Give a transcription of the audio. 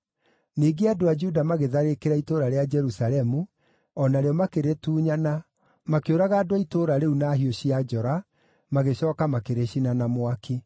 Ningĩ andũ a Juda magĩtharĩkĩra itũũra rĩa Jerusalemu, o narĩo makĩrĩtunyana, makĩũraga andũ a itũũra rĩu na hiũ cia njora, magĩcooka makĩrĩcina na mwaki.